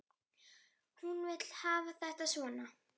Hún vill hafa þetta svona.